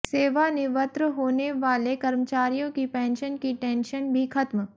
सेवानिवृत होने वाले कर्मचारियों की पेंशन की टेंशन भी खत्म